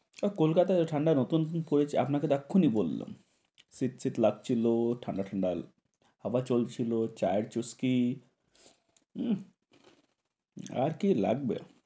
কলকাতায় ঠান্ডায় নুতুন পড়েছে আপনাকে এক্ষুনি বললাম শীত শীত লাগছিল। ঠান্ডা ঠান্ডা, হাওয়া চলছিল। চায়ের জোশ কি উম আর কি লাগবে।